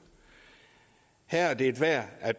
her er det værd at